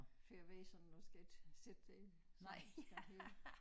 Fordi jeg ved sådan jeg skal ikke sidde i sådan skal hele